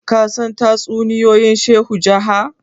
ka san tatsuniyoyin shehu jaha?